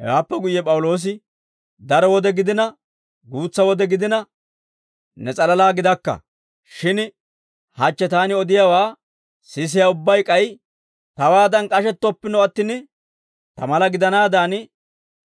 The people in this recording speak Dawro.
Hewaappe guyye P'awuloosi, «Daro wode gidina, guutsa wode gidina, ne s'alalaa gidakka; shin hachche taani odiyaawaa sisiyaa ubbay k'ay tawaadan k'ashettoppino attin, ta mala gidanaadan